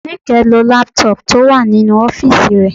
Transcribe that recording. Níkẹ́ ń lo lápútọ̀pù tó wà nínú ọ́fìsì rẹ